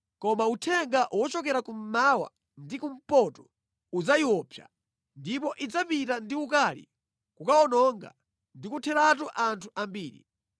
Koma uthenga wochokera kummawa ndi kumpoto udzayiopsa, ndipo idzapita ndi ukali kukawononga ndi kutheratu anthu ambiri.